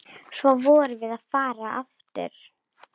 Svo vorum við farin aftur.